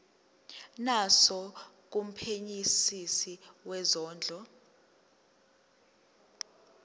naso kumphenyisisi wezondlo